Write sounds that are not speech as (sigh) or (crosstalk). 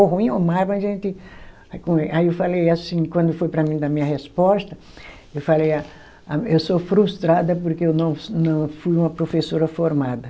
Ou ruim ou, (unintelligible) mas a gente... Aí como é, aí eu falei assim, quando foi para mim dar minha resposta, eu falei, a, eu sou frustrada porque eu não, não fui uma professora formada.